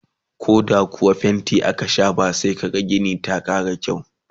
koh da kuwa fainti aka shafa sai kaga Gini ta Kara kyau